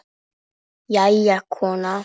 Jæja, kona.